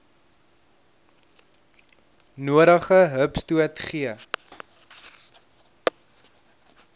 nodige hupstoot gee